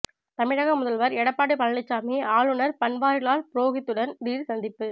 தமிழக முதல்வர் எடப்பாடி பழனிசாமி ஆளுநர் பன்வாரிலால் புரோகித்துடன் திடீர் சந்திப்பு